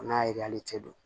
O n'a ye hali cɛ don